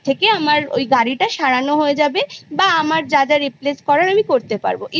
আামার ওই গাড়িটা সারাইও হয়ে যাবে বা আনার যাযা replace করার করতে পারব। even